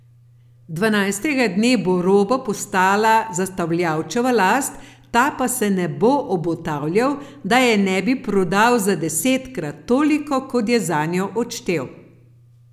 Dvanajstega dne bo roba postala zastavljavčeva last, ta pa se ne bo obotavljal, da je ne bi prodal za desetkrat toliko, kot je zanjo odštel.